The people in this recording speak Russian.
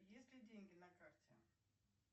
есть ли деньги на карте